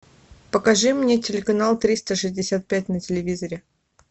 покажи мне телеканал триста шестьдесят пять на телевизоре